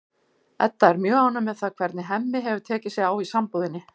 Edda er mjög ánægð með það hvernig Hemmi hefur tekið sig á í sambúðinni.